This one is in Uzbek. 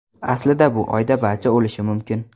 Aslida bu oyda barcha o‘lishi mumkin.